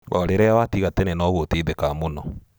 O rĩrĩa watiga tene noguo ũteithekaga mũno.